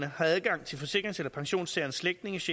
har adgang til forsikrings eller pensionstagerens slægtninges